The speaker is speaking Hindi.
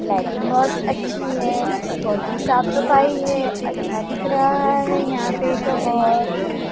लाइटिंग बहोत अच्छी है बहोत ही साफ सफाई है अच्छा दिख रहा है यहां पे तो बहोत--